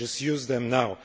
just use them now.